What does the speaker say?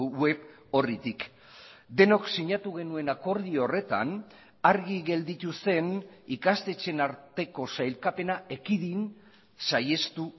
web orritik denok sinatu genuen akordio horretan argi gelditu zen ikastetxeen arteko sailkapena ekidin saihestu